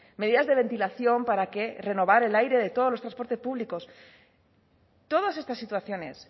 medidas de ventilación para que renovar el aire de todos los transportes públicos todas estas situaciones